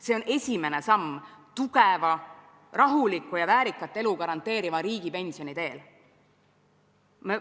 See on esimene samm tugeva, rahuliku ja väärikat elu garanteeriva riigipensioni teel.